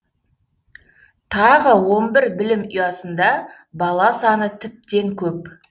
тағы он бір білім ұясында бала саны тіптен көп